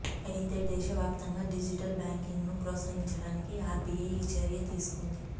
అయితే దేశవ్యాప్తంగా డిజిటల్ బ్యాంకింగ్ను ప్రోత్సహించడానికి ఆర్బిఐ ఈ చర్య తీసుకుంది